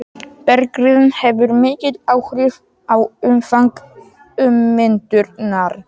Berggerðin hefur mikil áhrif á umfang ummyndunar.